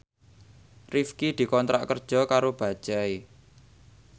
Rifqi dikontrak kerja karo Bajaj